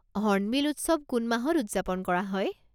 Hornbill উৎসৱ কোন মাহত উদযাপন কৰা হয়?